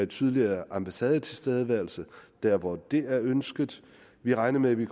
tydeligere ambassadetilstedeværelse der hvor det er ønsket vi regner med at vi